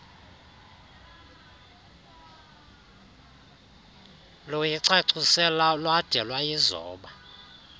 luyicacise lwade lwayizoba